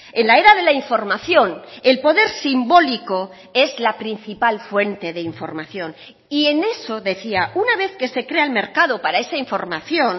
en la era de la información el poder simbólico es la principal fuente de información y en eso decía una vez que se crea el mercado para esa información